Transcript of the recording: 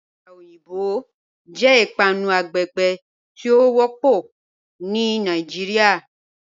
Akàrà ọyinbọ̀ jẹ́ ìpànù àgbègbè tí o wọ́pọ̀ ní Nàìjíríà.